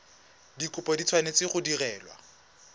dikopo di tshwanetse go direlwa